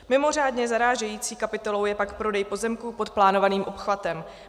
Mimořádně zarážející kapitolou je pak prodej pozemků pod plánovaným obchvatem.